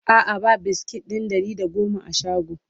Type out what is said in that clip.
a'a ba biskit ɗin Ɗari da da goma a shagon